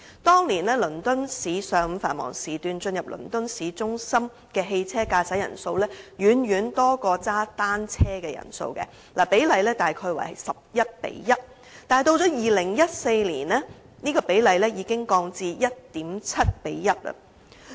當年，倫敦市上午繁忙時段駕駛汽車進入倫敦市中心的人數遠多於踩單車的人數，比例大約是 11：1， 但及至2014年，比例已經降至 1.7：1 了。